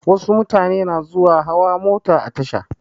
Wasu mutane na zuwa hawa mota a tasha.